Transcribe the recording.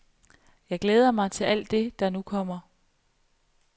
Jeg glæder mig til alt det, der nu kommer.